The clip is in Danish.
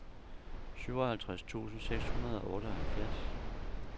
syvoghalvtreds tusind seks hundrede og otteoghalvfjerds